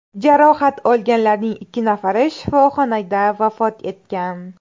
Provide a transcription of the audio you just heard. Jarohat olganlarning ikki nafari shifoxonada vafot etgan.